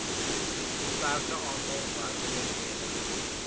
beperkte aantal werkgeleenthede